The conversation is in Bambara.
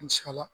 An sikala